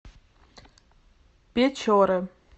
печоры